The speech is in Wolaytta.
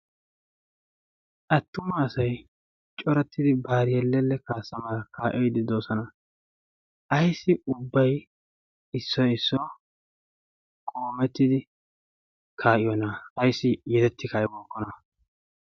attuma asay corattidi baariyeelelle kaassamaa kaa'iddi doosana ayssi ubbai issoi issuwaa qoomettidi kaa'iyoona ayssi yedetti kaa'ibookkona